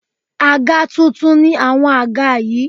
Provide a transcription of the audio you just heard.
Àga tuntun ni àwọn àga yí.